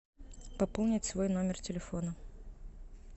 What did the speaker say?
пополнить свой номер телефона